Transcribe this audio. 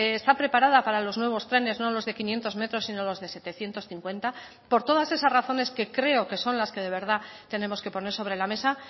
está preparada para los nuevos trenes no los de quinientos metros sino los de setecientos cincuenta por todas esas razones que creo que son las que de verdad tenemos que poner sobre la mesa